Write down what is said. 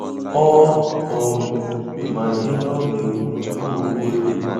Ọ um ma ihe ọ ga-ekwu tupu o kwuo ya.